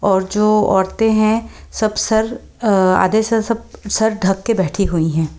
और जो औरतें हैं सब सर आधे सर सब सर ढक के बैठी हुई हैं।